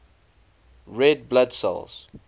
red blood cells